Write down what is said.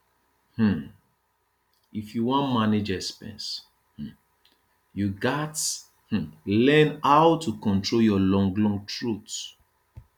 um if you wan manage expenses um you gats um learn how to control your long long throat